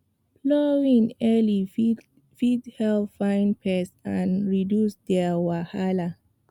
plowing early fit help find pests and reduce their wahala